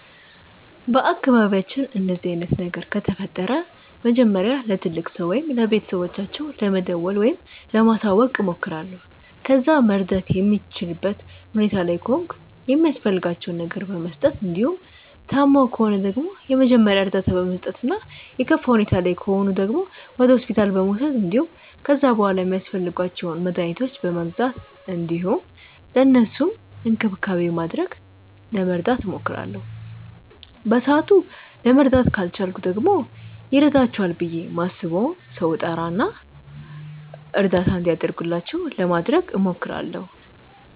በአካባቢያችን እንደዚህ አይነት ነገር ከተፈጠረ መጀመሪያ ለትልቅ ሰው ወይም ለቤተሰቦቻቸው ለመደወል ወይም ለማሳወቅ እሞክራለሁ። ከዛ መርዳት የምችልበት ሁኔታ ላይ ከሆንኩ የሚያስፈልጋቸውን ነገር በመስጠት እንዲሁም ታመው ከሆነ ደግሞ የመጀመሪያ እርዳታ በመስጠት እና የከፋ ሁኔታ ላይ ከሆኑ ደግሞ ወደ ሆስፒታል በመውሰድ እንዲሁም ከዛ በሗላ ሚያስፈልጓቸውን መድኃኒቶች በመግዛት እንዲሁም ለእነሱም እንክብካቤ በማድረግ ለመርዳት እሞክራለሁ። በሰአቱ ለመርዳት ካልቻልኩ ደግሞ ይረዳቸዋል ብዬ ማስበውን ሰው እጠራ እና እርዳታ እንዲደረግላቸው ለማድረግ እሞክራለሁ።